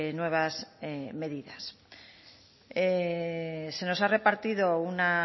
nuevas medidas se nos ha repartido una